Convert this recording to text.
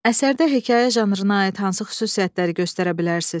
Əsərdə hekayə janrına aid hansı xüsusiyyətləri göstərə bilərsiz?